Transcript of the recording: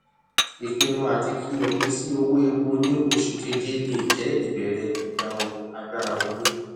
ìpinnu àti fi opin sí owó epo ní oṣù kéje le jẹ ìbẹrẹ gbígba ohun agbára wọlé